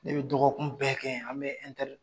Ne bɛ dɔgɔkun bɛɛ kɛ an bɛ